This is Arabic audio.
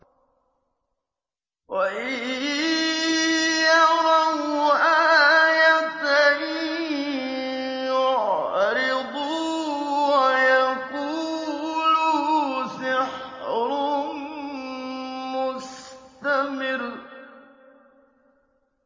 وَإِن يَرَوْا آيَةً يُعْرِضُوا وَيَقُولُوا سِحْرٌ مُّسْتَمِرٌّ